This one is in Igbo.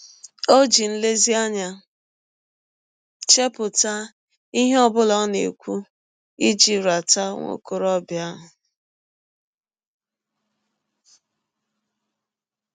Ọ ji nlezianya chepụta ihe ọ bụla ọ na - ekwụ iji rata nwa ọkọrọbịa ahụ.